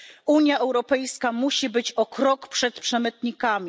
Unia Europejska musi być o krok przed przemytnikami.